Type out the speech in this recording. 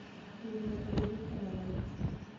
Winy nyaka bed gi kama ler.